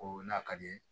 O n'a ka di ye